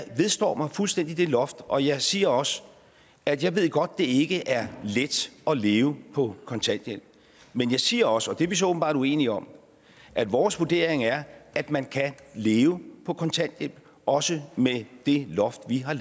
vedstår mig fuldstændig det loft og jeg siger også at jeg godt ved det ikke er let at leve på kontanthjælp men jeg siger også og det er vi så åbenbart uenige om at vores vurdering er at man kan leve på kontanthjælp også med det loft vi har